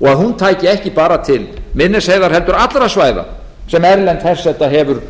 og að hún tæki ekki bara til miðnesheiðar heldur allra svæða sem erlend herseta hefur